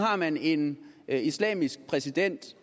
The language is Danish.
har man en islamisk præsident